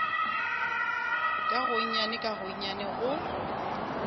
ka gonnyane ka gonnyane go